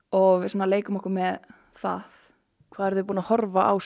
og við svona leikum okkur með það hvað eruð þið búin að horfa á